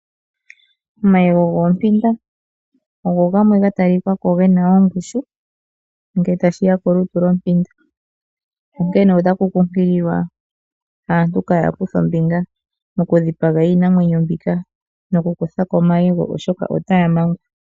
Omayego goompinda ogo gamwe gatalikako gena ongushu ngele tashiya kolutu lwompinda, onkene otaku kunkililwa aantu kaaya kuthe ombinga mokudhipaga iimwenyo mbika nokukuthako omayego oshoka otaya mangwa.